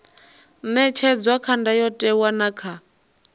ṅetshedzwa kha ndayotewa na kha